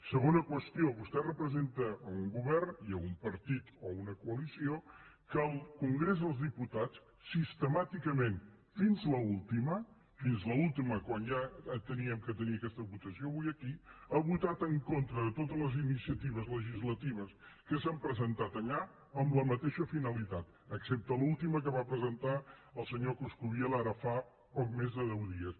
segona qüestió vostè representa un govern i un partit o una coalició que al congrés dels diputats sistemàticament fins a l’última fins a l’última quan ja havíem de tenir aquesta votació avui aquí ha votat en contra de totes les iniciatives legislatives que s’han presentat allà amb la mateixa finalitat excepte l’última que va presentar el senyor coscubiela ara fa poc més de deu dies